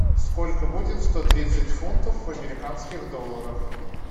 сколько будет сто тридцать фунтов в американских долларах